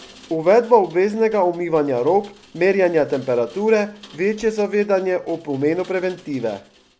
Uvedba obveznega umivanja rok, merjenja temperature, večje zavedanje o pomenu preventive...